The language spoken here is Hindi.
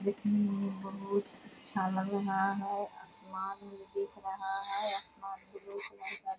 दिखने में बहुत अच्छा लग रहा है आसमान भी दिख रहा है आसमान में --